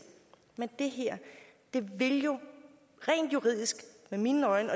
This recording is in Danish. men det her vil jo rent juridisk i mine øjne